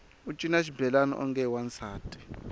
u cina xibelani onge i wansati